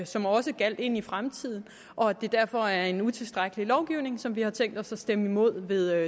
som også gjaldt ind i fremtiden og at det derfor er en utilstrækkelig lovgivning som vi har tænkt os at stemme imod ved